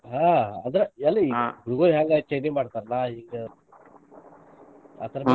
ಹಾ ಅದ ಎಲ್ಲಿ ಹುಡುಗುರ ಹೆಂಗ್ ಚೈನಿ ಮಾಡ್ತಾರ್ಲಾ ಹಿಂಗ್ ಅದರ ಮ್ಯಾಲ.